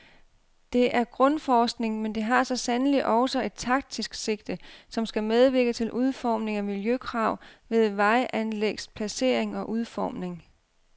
Det er grundforskning, men det har så sandelig også et taktisk sigte, som skal medvirke til udformning af miljøkrav ved vejanlægs placering og udformning.